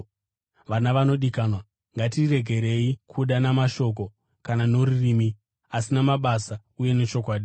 Vana vanodikanwa, ngatiregerei kuda namashoko kana norurimi, asi namabasa uye nechokwadi.